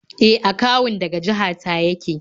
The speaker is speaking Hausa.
E, akawun daga jaha ta yake